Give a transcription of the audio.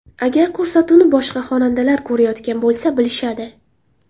Agar ko‘rsatuvni boshqa xonandalar ko‘rayotgan bo‘lsa, bilishadi.